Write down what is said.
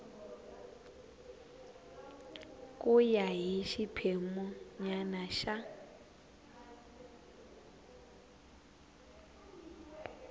ku ya hi xiphemunyana xa